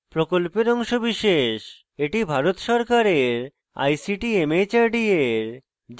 এটি ভারত সরকারের ict mhrd এর জাতীয় শিক্ষা mission দ্বারা সমর্থিত